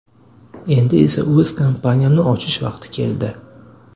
Endi esa o‘z kompaniyamni ochish vaqti keldi”.